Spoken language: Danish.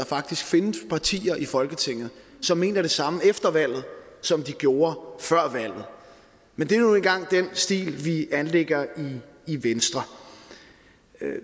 faktisk findes partier i folketinget som mener det samme efter valget som de gjorde før valget men det er nu engang den stil vi anlægger i venstre